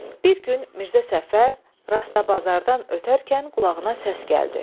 Bir gün Mirzə Səfər Rastabazardan ötərkən qulağına səs gəldi.